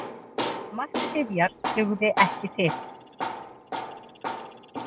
Mark Sifjar dugði ekki til